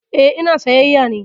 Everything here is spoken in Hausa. Eh, ina sayyaya ne